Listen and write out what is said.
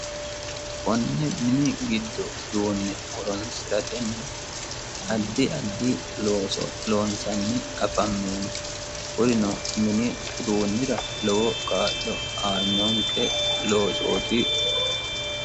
Konne mini giddo duunne horonisiratenni addi addi looso loomisanji afameemmo kunino mini uduunnira lowo kaa'lo aanonike loosooti